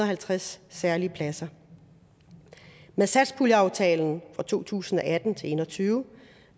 halvtreds særlige pladser med satspuljeaftalen for to tusind og atten til en og tyve